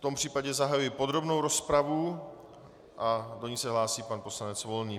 V tom případě zahajuji podrobnou rozpravu a do ní se hlásí pan poslanec Volný.